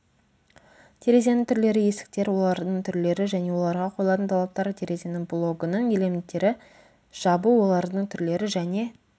терезенің түрлері есіктер олардың түрлері және оларға қойылатын талаптар терезенің блогының элементтері жабу олардың түрлері және